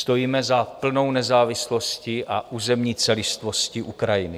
Stojíme za plnou nezávislostí a územní celistvostí Ukrajiny.